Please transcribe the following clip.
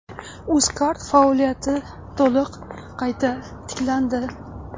Uzcard faoliyati to‘liq qayta tiklandi.